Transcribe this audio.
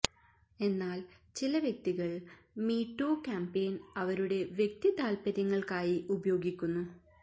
എന്നാൽ ചില വ്യക്തികൾ മീ ടൂ ക്യാമ്പയിൻ അവരുടെ വ്യക്തി താൽപര്യങ്ങൾക്കായി ഉപയോഗിക്കുന്നു